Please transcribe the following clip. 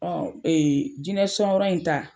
Ɔ ee jinɛ son yɔrɔ in ta.